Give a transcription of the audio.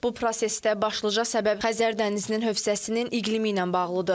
Bu prosesdə başlıca səbəb Xəzər dənizinin hövzəsinin iqlimi ilə bağlıdır.